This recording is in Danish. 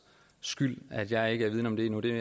skyld at jeg ikke er vidende om det endnu det er